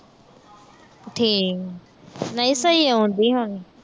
ਠੀਕ। ਨਹੀਂ ਸਹੀ ਆਉਂਦੀ ਹੁਣ।